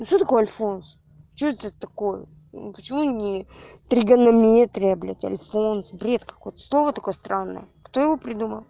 что такое альфонс что это такое почему мне тригонометрия блять альфонс бред какой-то слово такое странное кто его придумал